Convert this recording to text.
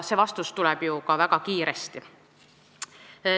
See vastus tuleb ju ka väga kiiresti.